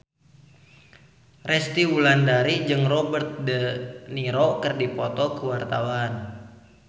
Resty Wulandari jeung Robert de Niro keur dipoto ku wartawan